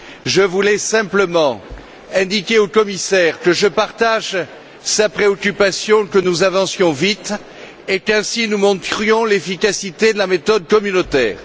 Je voulais simplement indiquer au commissaire que je partage sa préoccupation que nous avancions vite et qu'ainsi nous montrions l'efficacité de la méthode communautaire.